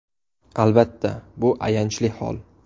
Albatta, bu ayanchli hol.